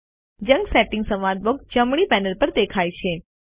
junk settings સંવાદ box જમણી panel પર દેખાય છે